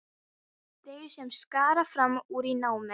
Jöklarnir eru farnir að bráðna svo skarpt.